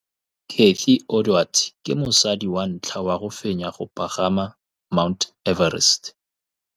Cathy Odowd ke mosadi wa ntlha wa go fenya go pagama ga Mt Everest.